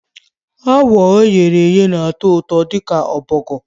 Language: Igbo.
Frog e ghere eghe na-atọ ụtọ dị ka Turkey azụ